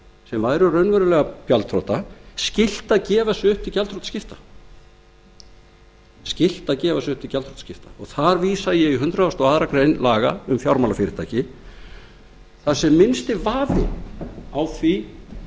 sem væru raunverulega gjaldþrota skylt að gefa sig upp til gjaldþrotaskipta og þar vísa ég í hundrað og aðra grein laga um fjármálafyrirtæki þar sem er minnsti vafi á því